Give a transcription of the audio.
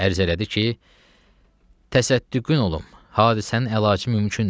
Ərz elədi ki, təsəddüqün olum, hadisənin əlacı mümkündür.